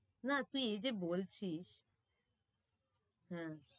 না তুই এইযে বলছিস হম